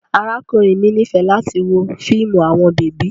Arakunrin mi nifẹ lati wo fiimu awọn bebi